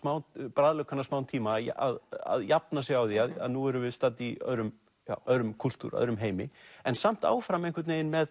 bragðlaukana smá tíma að jafna sig á því að nú erum við stödd í öðrum öðrum kúltúr öðrum heimi en samt áfram einhvern veginn með